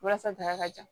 Walasa bana ka jan